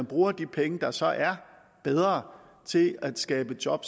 bruger de penge der så er bedre til at skabe job